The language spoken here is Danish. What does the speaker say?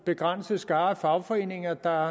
begrænset skare af fagforeninger der